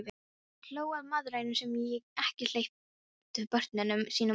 Hann hló að mæðrunum sem ekki hleyptu börnunum sínum út.